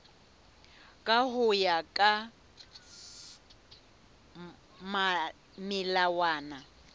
ka ho ya ka melawana